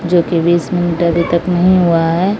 जोकि तक नहीं हुआ है।